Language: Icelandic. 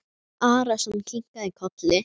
Jón Arason kinkaði kolli.